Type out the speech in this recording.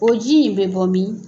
O ji in bɛ bɔ min ?